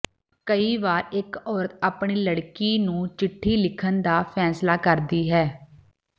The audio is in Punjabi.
ਕਈ ਵਾਰ ਇਕ ਔਰਤ ਆਪਣੀ ਲੜਕੀ ਨੂੰ ਚਿੱਠੀ ਲਿਖਣ ਦਾ ਫੈਸਲਾ ਕਰਦੀ ਹੈ